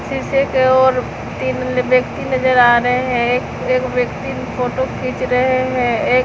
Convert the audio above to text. शीशे की ओर तीन व्यक्ति नजर आ रहे हैं एक एक व्यक्ति फोटो खींच रहे हैं एक--